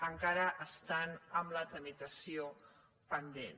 encara estan amb la tramitació pendent